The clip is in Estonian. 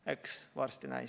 Eks varsti näeme.